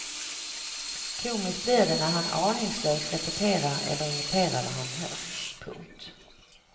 Komiskt blir det när han aningslöst repeterar eller imiterar vad han hört. punkt